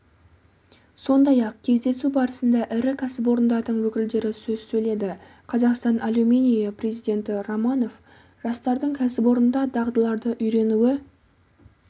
сондай-ақ кездесу барысында ірі кәсіпорындардың өкілдері сөз сөйледі қазақстан алюминийі президенті романов жастардың кәсіпорында дағдыларды үйренуі